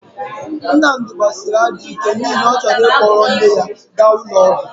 Nnamdi gbasịrị ajọ ike n'ihi na ọ chọrọ ịkpọrọ nne ya ga ụlọ ọgwọ..